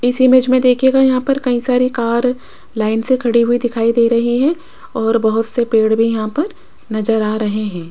इस इमेज में देखिएगा यहां पर कई सारी कार लाइन से खड़ी हुई दिखाई दे रही है और बहुत से पेड़ भी यहां पर नजर आ रहे हैं।